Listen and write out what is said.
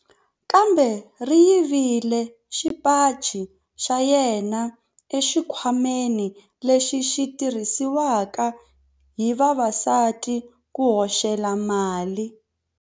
Khamba ri yivile xipaci xa yena exikhwameni lexi xi tirhisiwaka hi vavasati ku hoxela mali.